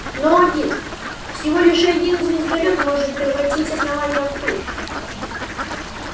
но один всего лишь один звездолёт может превратить основание в пыль